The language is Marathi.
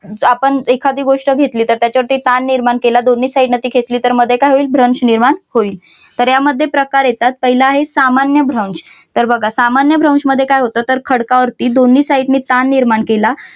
आपण एखादी गोष्ट घेतले तर त्याच्यावरती ताण निर्माण केला दोन्ही side न ती खेचली तर काय होईल भ्रंश निर्माण होईल तर यामध्ये प्रकार येतात पहिला आहे सामान्य भ्रंश. तर बघा सामान्य भ्रंश मध्ये काय होतं खडकावरती दोन्ही साईड ने ताण निर्माण केला